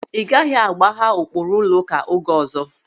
Ị gaghị agbagha ụkpụrụ ụlọụka oge ọzọ!